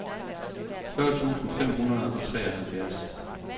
fyrre tusind fem hundrede og treoghalvfjerds